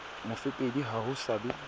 mofepedi ha ho sa be